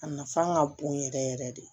A nafa ka bon yɛrɛ yɛrɛ de